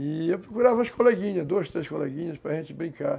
E eu procurava umas coleguinhas, duas, três coleguinhas, para a gente brincar.